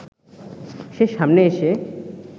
সে সামনে এসে